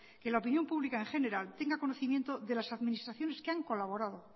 que la opinión pública en general tenga conocimiento de las administraciones que han colaborado